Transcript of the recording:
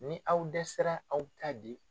Ni aw dɛsɛra aw bɛ ta'a di